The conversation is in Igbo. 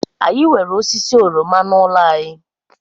Anyị nwere osisi oroma n'ụlọ anyị